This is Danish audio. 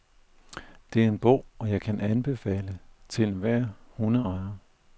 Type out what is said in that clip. Det er en bog, jeg kan anbefale til enhver hundeejer.